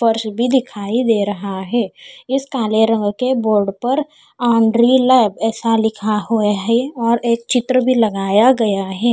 फर्श भी दिखाई दे रहा है इस काले रंग के बोर्ड लांड्री लैब ऐसा लिखा हुआ है एक चित्र भी लगाया गया है।